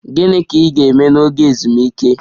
Gịnị ka ị ga-eme n'oge ezumike?